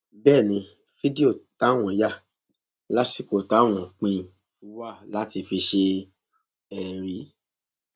bẹẹ ni fídíò táwọn yà lásìkò táwọn ń pín in wa láti fi ṣe ẹrí